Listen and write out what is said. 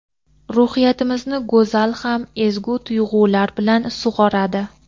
Ruhiyatimizni go‘zal ham ezgu tuyg‘ular bilan sug‘oradi.